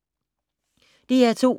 DR2